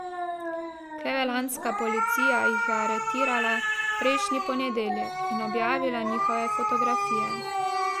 Clevelandska policija jih je aretirala prejšnji ponedeljek in objavila njihove fotografije.